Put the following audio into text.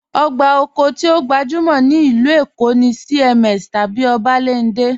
Ogbá okó ti o gbajúmọ̀ ní ilú Èkó̀ ni CMS tabí Obalende.